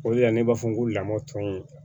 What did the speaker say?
O de la ne b'a fɔ n ko lamɔ tɔ in